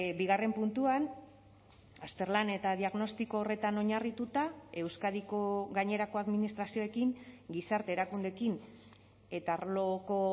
bigarren puntuan azterlan eta diagnostiko horretan oinarrituta euskadiko gainerako administrazioekin gizarte erakundekin eta arloko